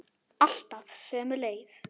Alltaf sömu leið.